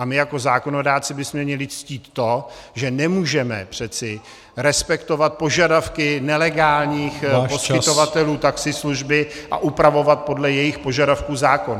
A my jako zákonodárci bychom měli ctít to, že nemůžeme přece respektovat požadavky nelegálních poskytovatelů taxislužby a upravovat podle jejich požadavků zákon.